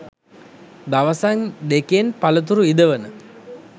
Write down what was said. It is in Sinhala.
දවසෙන් දෙකෙන් පලතුරු ඉදවන